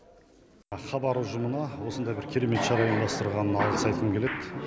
хабар ұжымына осындай керемет шараны ұйымдастырғанына алғыс айтқым келеді